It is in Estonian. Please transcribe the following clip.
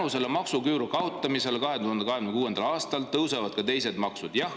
Kas selle maksuküüru kaotamise tõttu tõusevad 2026. aastal ka teised maksud?